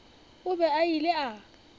o be a ile a